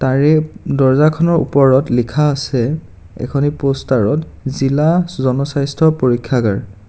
তাৰে দৰ্জাখনৰ উপৰত লিখা আছে এখনি পষ্টাৰ ত জিলা জনস্বাস্থ্য পৰীক্ষাগাৰ.